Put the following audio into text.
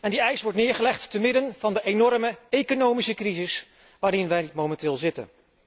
En die eis wordt voorgelegd te midden van de enorme economische crisis waarin wij momenteel zitten.